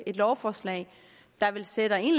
et lovforslag der vel sætter en